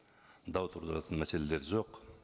дау тудыратын мәселелер жоқ